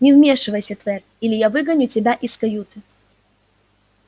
не вмешивайся твер или я выгоню тебя из каюты